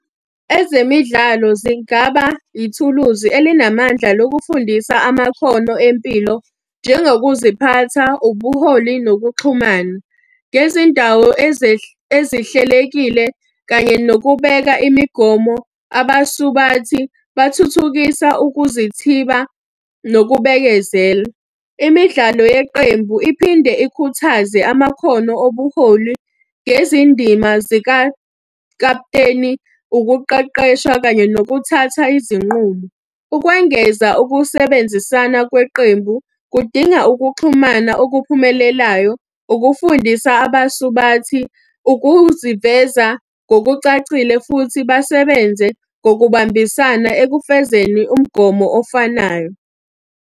Ezemidlalo zingaba ithuluzi elinamandla lokufundisa amakhono empilo njengokuziphatha, ubuholi nokuxhumana. Ngezindawo ezihlelekile kanye nokubeka imigomo, abasubathi bathuthukisa ukuzithiba nokubekezela. Imidlalo yeqembu iphinde ikhuthaze amakhono obuholi ngezindima zikakaputeni, ukuqeqeshwa kanye nokuthatha izinqumo. Ukwengeza ukusebenzisana kweqembu kudinga ukuxhumana okuphumelelayo, ukufundisa abasubathi, ukuziveza ngokucacile futhi basebenze ngokubambisana ekufezeni umgomo ofanayo.